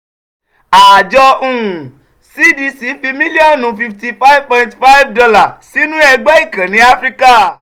àjọ um cdc fi mílíọ̀nù fifty five point five dollar sínú ẹgbẹ́ ìkànnì áfíríkà